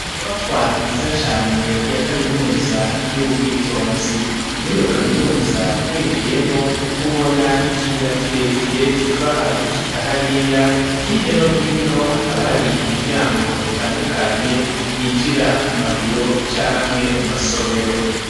Inyubakwa nziza cane ya kaminuza y'Ubwitonzi ,muri iyo kaminuza winjiyemwo ubona ikiyira kirekire kivaha gushika hariya, hirya no hino hakaba hari imiryango itandukanye yinjira mu mabiro canke mu masomero.